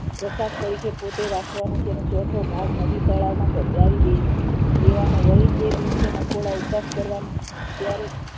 પ્રસાદ તરીકે પોતે રાખવાનો છે અને ચોથો ભાગ નદી તળાવમાં પધરાવી દઈ દેવાનો અને તે દિવસ એ નકોડો ઉપવાસ કરવાનો